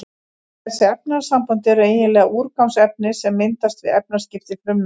Þessi efnasambönd eru eiginlega úrgangsefni sem myndast við efnaskipti frumnanna.